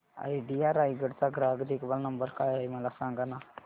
idea Raigad चा ग्राहक देखभाल नंबर काय आहे मला सांगाना